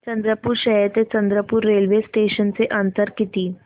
चंद्रपूर शहर ते चंद्रपुर रेल्वे स्टेशनचं अंतर किती